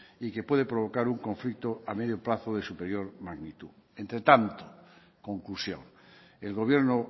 y que puede provocar un conflicto a medio plazo de superior magnitud entre tanto conclusión el gobierno